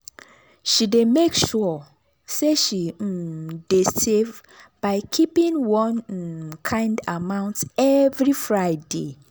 she dey make sure say she um dey save by keeping one um kind amount every friday.